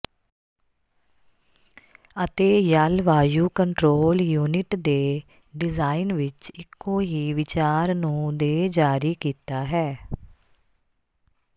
ਅਤੇ ਜਲਵਾਯੂ control unit ਦੇ ਡਿਜ਼ਾਇਨ ਵਿੱਚ ਇੱਕੋ ਹੀ ਵਿਚਾਰ ਨੂੰ ਦੇ ਜਾਰੀ ਕੀਤਾ ਹੈ